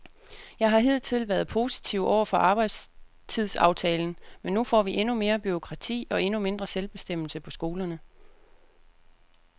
Jeg har hidtil været positiv over for arbejdstidsaftalen, men nu får vi endnu mere bureaukrati og endnu mindre selvbestemmelse på skolerne.